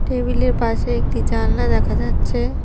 Table -এর পাশে একটি জালনা দেখা যাচ্ছে।